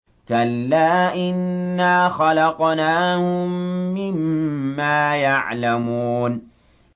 كَلَّا ۖ إِنَّا خَلَقْنَاهُم مِّمَّا يَعْلَمُونَ